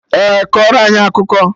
Ee, kọrọ anyị akụkọ